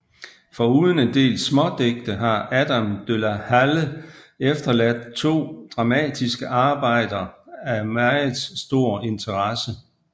Foruden en del smådigte har Adam de la Halle efterladt to dramatiske arbejder af meget stor interesse